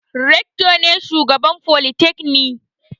Rector ne shugaban folytekni.